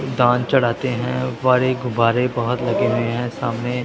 सुल्तान चढ़ाते हैं ऊपर एक गुब्बारे बहोत लगे हुए हैं सामने।